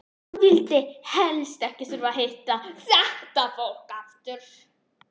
Hann vildi helst ekki þurfa að hitta þetta fólk aftur!